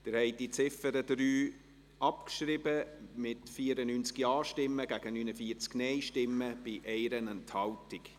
Sie haben die Ziffer 3 abgeschrieben, mit 94 Ja- gegen 49 Nein-Stimmen bei 1 Enthaltung.